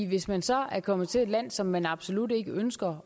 hvis man så er kommet til et land som man absolut ikke ønsker